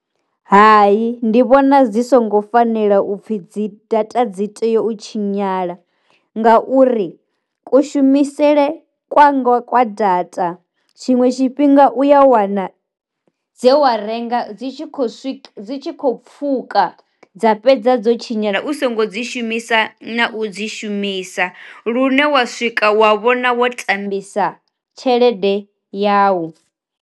Hai ndi vhona dzi songo fanela upfhi dzi data dzi tea u tshinyala, nga uri ku shumisele kwanga kwa data tshiṅwe tshifhinga u ya wana dze wa renga dzi tshi khou swika dzi kho pfuka dza fhedza dzo tshinyala u songo dzi shumisa na u dzi shumisa, lune wa swika wa vhona wo tambisa tshelede yau.